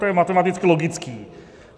To je matematicky logické.